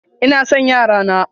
Ina son yara na.